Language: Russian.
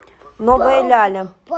новая ляля